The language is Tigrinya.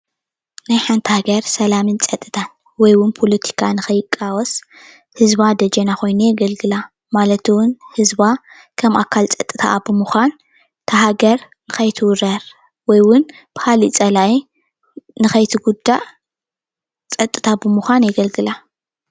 ናይ ሓንቲ ሃገር ሰላምን ፀፅታን ወይ እውን ፖለቲካ ንከይቃወስ ህዝባ ደጀና ኮይኑ የገልግላ፡፡ ማለት እውን ህዝባ ከም ኣካል ፀፅታ ብምኳን እታ ሃገር ንከይትውረር ወይ እውን ብፀላኢ ንከትጉዳእ ፀጥታ ብምኳን የገልግላ፡፡